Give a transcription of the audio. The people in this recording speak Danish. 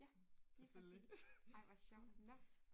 Ja lige præcis ej hvor sjovt nåh